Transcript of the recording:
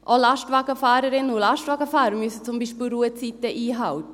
Auch Lastwagenfahrerinnen und Lastwagenfahrer müssen beispielsweise Ruhezeiten einhalten.